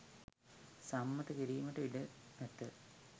සම්මත කිරිමට ඉඩ ඇත